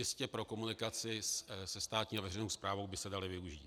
Jistě pro komunikaci se státní a veřejnou správou by se daly využít.